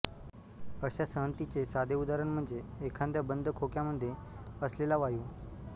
अशा संहतीचे साधे उदाहरण म्हणजे एखाद्या बंद खोक्यामधे असलेला वायू